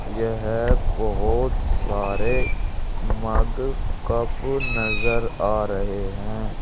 यहां बहुत सारे मग कप नजर आ रहे हैं।